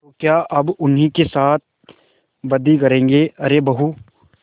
तो क्या अब उन्हीं के साथ बदी करेंगे अरे बहू